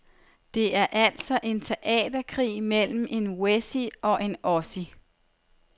Det er altså en teaterkrig mellem en wessie og en ossie.